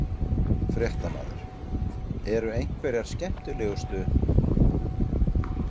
Fréttamaður: Eru einhverjar skemmtilegustu?